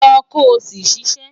Lọ ko si ṣiṣẹ